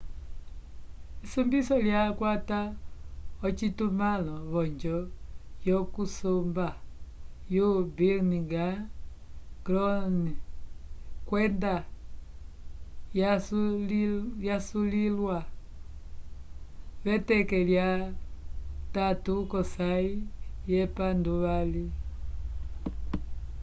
esombiso lyakwata ocitumãlo v'onjo yokusomba yo birminghan crown kwenda yasuliwa v'eteke lya 3 lyosãyi yepanduvali